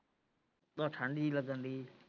ਬਹੁਤ ਠੰਡ ਜੀ ਲੱਗਣ ਹੈ।